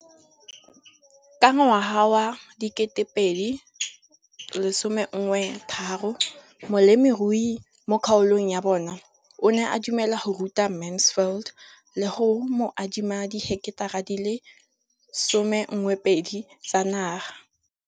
Ka ngwaga wa 2013, molemirui mo kgaolong ya bona o ne a dumela go ruta Mansfield le go mo adima di heketara di le 12 tsa naga.